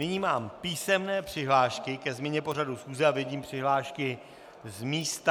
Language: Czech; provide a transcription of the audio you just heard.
Nyní mám písemné přihlášky ke změně pořadu schůze a vidím přihlášky z místa.